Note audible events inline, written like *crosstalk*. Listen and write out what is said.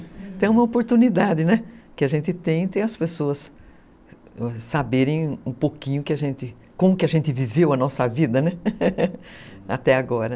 Então é uma oportunidade, né, que a gente tem, ter as pessoas saberem um pouquinho como a gente viveu a nossa vida, né, *laughs* até agora.